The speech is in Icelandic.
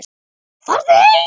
Farðu heim.